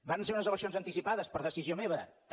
varen ser unes decisions anticipades per decisió meva també